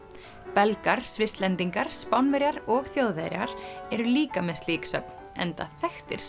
Belgar Svisslendingar Spánverjar og Þjóðverjar eru líka með slík söfn enda þekktir